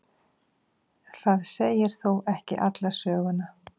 það segir þó ekki alla sögu